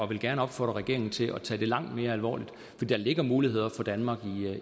vil gerne opfordre regeringen til at tage det langt mere alvorligt for der ligger muligheder for danmark